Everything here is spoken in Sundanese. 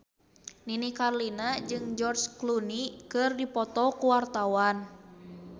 Nini Carlina jeung George Clooney keur dipoto ku wartawan